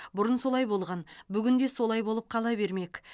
бұрын солай болған бүгін де солай болып қала бермек